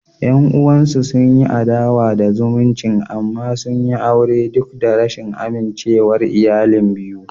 Yan uwansu sun yi adawa da zumuncin amma sun yi aure duk da rashin amincewar iyalan biyu.